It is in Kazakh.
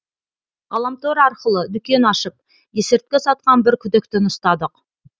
ғаламтор арқылы дүкен ашып есірткі сатқан бір күдіктіні ұстадық